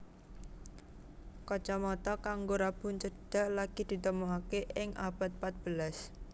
Kacamata kanggo rabun cedhak lagi ditemokake ing abad pat belas